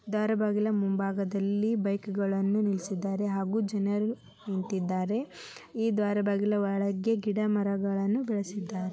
ದರ್ಗಾ ಮುಂಭಾಗದಲ್ಲಿ ಬೈಗುಗಳನ್ನು ನಿಲ್ಲಿಸಿದ್ದಾರೆ ಹಾಗೂ ಜನರು ನಿಂತಿದ್ದಾರೆ ದರ್ಗಾದ ಒಳಗಡೆ ಗಿಡ ಮರಗಳನ್ನು ಬೆಳೆಸಿದ್ದಾರೆ.